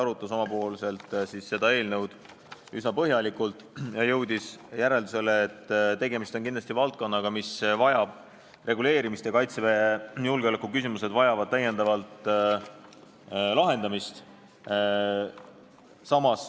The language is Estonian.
Ta arutas eelnõu üsna põhjalikult ja jõudis järeldusele, et kindlasti on tegemist valdkonnaga, mis vajab reguleerimist ja Kaitseväe julgeoleku küsimused vajavad täiendavalt lahendamist.